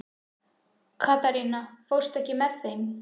Katharina, ekki fórstu með þeim?